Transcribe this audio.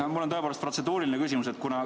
Jaa, mul on tõepoolest protseduuriline küsimus.